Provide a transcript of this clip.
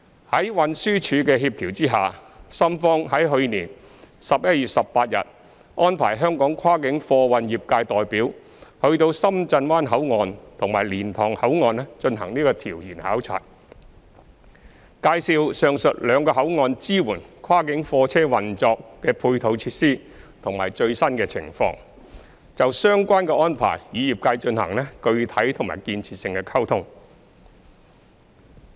在運輸署協調下，深方於去年11月18日安排香港跨境貨運業界代表到深圳灣口岸及蓮塘口岸進行調研考察，介紹上述兩個口岸支援跨境貨車運作的配套設施的最新情況，並就相關安排與業界進行具體及建設性的溝通。